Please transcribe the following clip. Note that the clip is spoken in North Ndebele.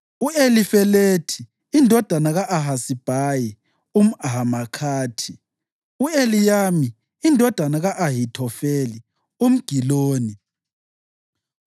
u-Elifelethi indodana ka-Ahasibhayi umʼMahakhathi, u-Eliyami indodana ka-Ahithofeli umGiloni,